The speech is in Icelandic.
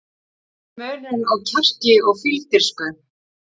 Hver er munurinn á kjarki og fífldirfsku?